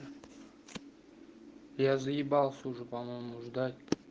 я заебался уже по-моему ждать